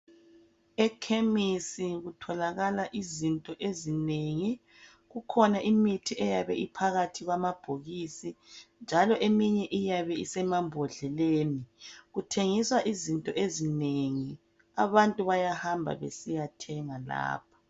Ekhemisi kutholakala izinto ezinengi. Kukhona imithi eyabe iphakathi kwamabhokisi njalo eminye iyabe isemambodleleni . Kuthengiswa izinto ezinengi. Abantu bayahamba besiyathenga lapha.